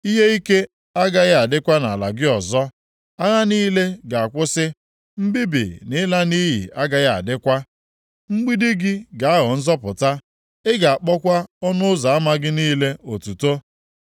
Ihe ike agaghị adịkwa nʼala gị ọzọ. Agha niile ga-akwụsị, mbibi na ịla nʼiyi agaghị adịkwa. Mgbidi gị ga-aghọ Nzọpụta, ị ga-akpọkwa ọnụ ụzọ ama gị niile Otuto.